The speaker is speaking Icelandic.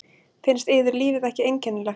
Finnst yður lífið ekki einkennilegt?